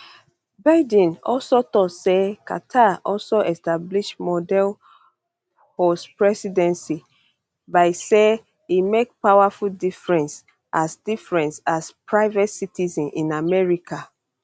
biden also tok say carter also establish model postpresidency by say e make powerful difference as difference as private citizen in america